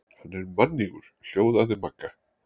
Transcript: Hann er mannýgur hljóðaði Magga.